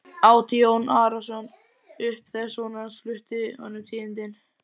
át Jón Arason upp þegar sonur hans flutti honum tíðindin.